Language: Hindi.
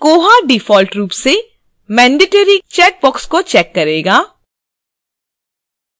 koha default रूप से mandatory के लिए चेकबॉक्स को check करेगा